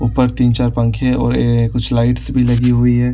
ऊपर तीन चार पंखे और अअअ कुछ लाइट्स भी लगी हुई है।